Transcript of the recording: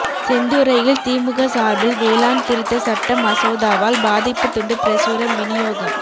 செந்துறையில் திமுக சார்பில் வேளாண் திருத்த சட்ட மசோதாவால் பாதிப்பு துண்டு பிரசுரம் விநியோகம்